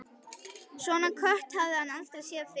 Svona kött hafði hann aldrei séð fyrr.